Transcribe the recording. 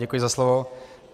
Děkuji za slovo.